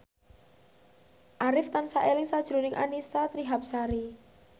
Arif tansah eling sakjroning Annisa Trihapsari